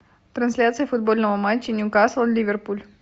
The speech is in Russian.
трансляция футбольного матча ньюкасл ливерпуль